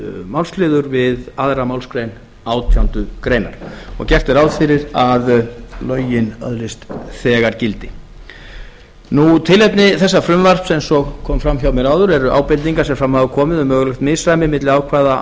málsliður við aðra málsgrein átjándu grein og gert er ráð fyrir að lögin öðlist þegar gildi eins og kom fram hjá mér áðan er tilefni þessa frumvarps ábendingar sem fram hafa komið um mögulegt misræmi milli ákvæða